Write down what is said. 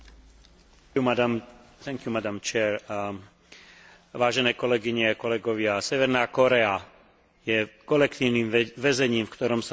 Severná Kórea je kolektívnym väzením, v ktorom sa denne odohrávajú tie najzávažnejšie porušenia ľudských práv hladovanie a mučenie.